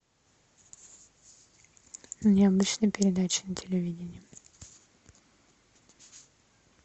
необычные передачи на телевидении